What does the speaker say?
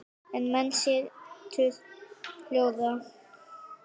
Og menn setur hljóða.